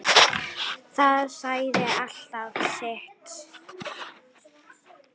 Það sagði alltaf sitt.